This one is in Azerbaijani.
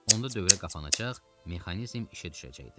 Onda dövrə qapanacaq, mexanizm işə düşəcəkdi.